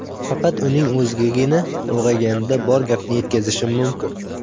Faqat uning o‘zigagina ulg‘ayganida bor gapni yetkazishim mumkin.